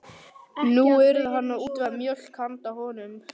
Nú yrði hann að útvega mjólk handa honum.